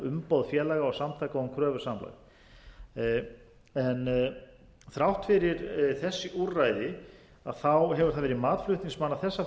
um málsóknarumboð félaga og samtaka um kröfusamlag þrátt fyrir þessi úrræði hefur það verið mat flutningsmanna